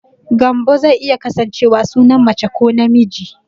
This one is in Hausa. Gambo zai iya kasancewa sunan mace ko namiji